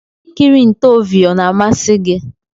Ikiri ntoovhi ọna amasi gi?